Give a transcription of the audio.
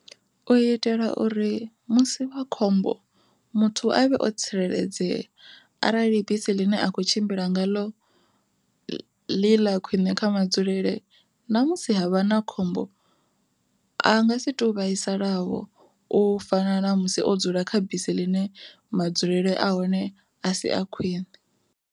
U itela uri musi wa khombo muthu avhe o tsireledzea, arali bisi ḽine a khou tshimbila ngaḽo ḽi ḽa khwiṋe kha madzulele ṋamusi havha na khombo a nga si to vhaisala vho u fana na musi o dzula kha bisi ḽine madzulele a hone a si a khwiṋe.